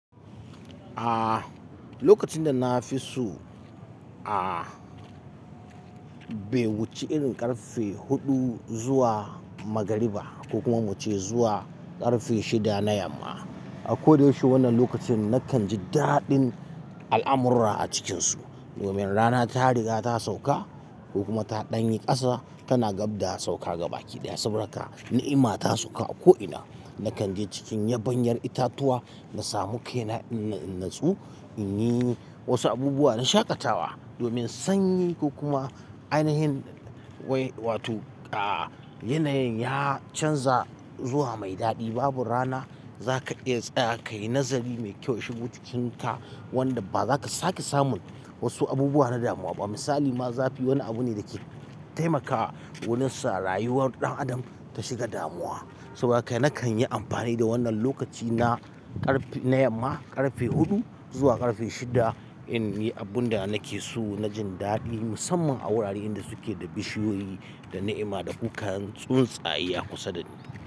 Aaa lokacin da na fi so a be wuce irin karfe huɗu zuwa magariba ko kuma mu ce zuwa karfe shida na yamma. A ko da yaushe wannan lokacin nakan ji daɗin al'amura a cikinsu. Nomiyar rana ta riga ta sauka ko kuma ta ɗanyi ƙasa tana gab da sauka gaba ki. Da yasabarka na'ima ta sauka a ko'ina. Nakanji cikin yaba yar itacuwa nasamu kaina inatsu inyi wasu abubuwa na shaƙatawa domin sanyi ko kuma ainihin wai wato aaa yanayin ya canza zuwa mai daɗi. Babbar rana za ka iya tsaya ka yi nazari mai kyau shigo cikinka wanda ba za ka sake samun wasu abubuwa na damuwa ba. Misali ma zafi wani abu ne da ke taimakawa wani sarayuwar ɗan adam ta shiga damuwa. Saboda haka nakanyi amfani da wannan lokaci na yama karfe hudu zuwa karfe shida.